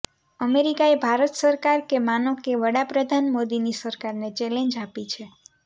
અમેરિકાએ ભારત સરકાર કે માનો કે વડાપ્રધાન મોદીની સરકારને ચેલેન્જ આપી છે